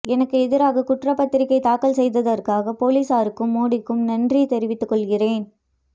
எனக்கு எதிராக குற்றப்பத்திரிகை தாக்கல் செய்ததற்காக போலீசாருக்கும் மோடிக்கும் நன்றி தெரிவித்து கொள்கிறேன்